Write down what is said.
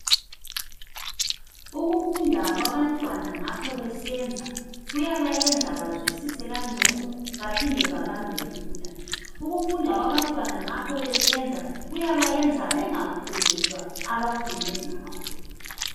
Ukufunda kwabantwana ngapho besenza kuyabayenza bazwisise kangcono baphinde babambe lula. Ukufunda kwabantwana ngapho besenza kuyabayenza bengakhohlwa abafunde ngakho.